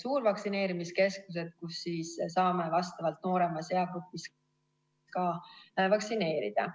suurvaktsineerimiskeskused, kus saame ka vastavalt nooremas eagrupis vaktsineerida.